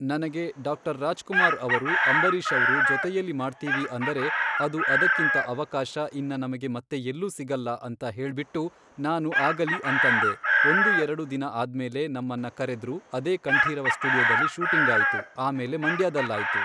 ನನಗೆ ಡಾಕ್ಟರ್ ರಾಜ್ಕುಮಾರ್ ಅವರು ಅಂಬರೀಶವ್ರು ಜೊತೆಯಲ್ಲಿ ಮಾಡ್ತೀವಿ ಅಂದರೆ ಅದು ಅದಕ್ಕಿಂತ ಅವಕಾಶ ಇನ್ನ ನಮಗೆ ಮತ್ತೆ ಎಲ್ಲೂ ಸಿಗಲ್ಲ ಅಂತ ಹೇಳ್ಬಿಟ್ಟು ನಾನು ಆಗಲಿ ಅಂತಂದೆ ಒಂದು ಎರಡು ದಿನ ಆದ್ಮೇಲೆ ನಮ್ಮನ್ನ ಕರೆದ್ರು ಅದೇ ಕಂಠೀರವ ಸ್ಟುಡಿಯೋದಲ್ಲಿ ಶೂಟಿಂಗಾಯಿತು ಆಮೇಲೆ ಮಂಡ್ಯಾದಲ್ಲಾಯಿತು.